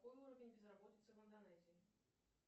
какой уровень безработицы в индонезии